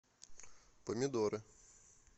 помидоры